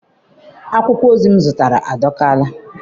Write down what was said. Akwụkwọ ozi m zụtara adọriela.